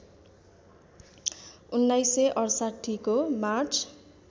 १९६८ को मार्च